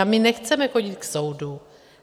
A my nechceme chodit k soudu.